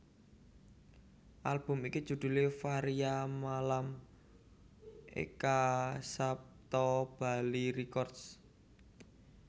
Album iki judhulé Varia Malam Eka Sapta Bali Records